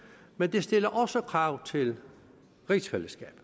men det stiller også krav til rigsfællesskabet